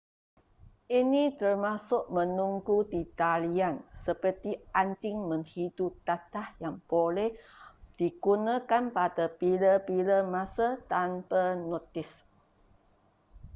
ini termasuk menunggu di talian seperti anjing menghidu dadah yang boleh digunakan pada bila-bila masa tanpa notis